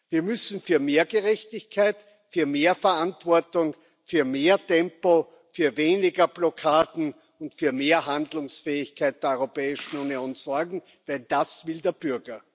Wir müssen für mehr Gerechtigkeit, für mehr Verantwortung, für mehr Tempo, für weniger Blockaden und für mehr Handlungsfähigkeit der Europäischen Union sorgen, denn das will der Bürger.